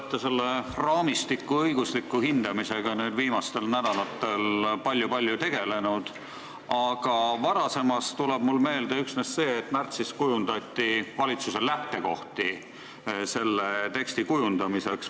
Te olete selle raamistiku õigusliku hindamisega viimastel nädalatel palju-palju tegelenud, aga varasemast tuleb mulle meelde üksnes see, et märtsis kujundati valitsuse lähtekohti selle teksti kujundamiseks.